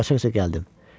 Qaça-qaça gəldim.